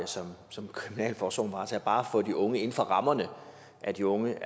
som kriminalforsorgen varetager bare for de unge inden for rammerne af de unge